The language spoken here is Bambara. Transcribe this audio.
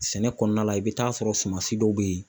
Sɛnɛ kɔnɔna la ,i bɛ taa sɔrɔ sumasi dɔw bɛ yen.